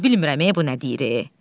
Hələ bilmirəm bu nə deyir.